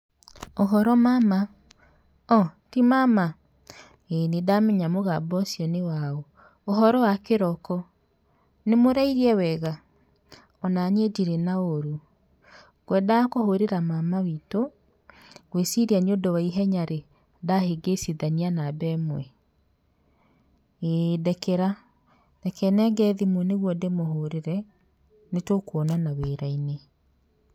Ũhoro mama, o, ti mama? Ĩ nĩndamenya mũgambo ũcio nĩ waũ, ũhoro wa kĩroko? Nĩmũrairie wega? o naniĩ ndirĩ na ũru ngwendaga kũhũrĩra mama witũ, ngwĩciria nĩũndũ wa ihenya rĩ, ndahĩngĩcithania namba ĩmwe ĩ ndekera reke nenge thimũ nĩgetha ndĩmũhũrĩre nĩtũkuonana wĩra-inĩ.